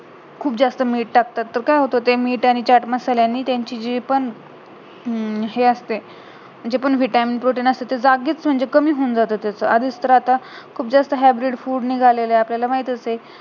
खूप जास्त मीठ टाकतात तर काय होत खूप जास्त मीठ आणि चाट मसाल्यांनि त्याची जी पण हम्म हे असते म्हणजे पूर्ण vitamin protein असते म्हणजे जागीच एकदम कमी होऊन जाते एकदम आधीच तर आता खूप जास्त hybrid fruit निघाले आहेत आता आपल्याला तर माहीतच आहे